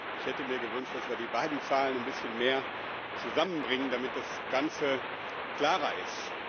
Ich hätte mir gewünscht, dass wir die beiden Zahlen ein bisschen mehr zusammenbringen, damit das Ganze klarer ist.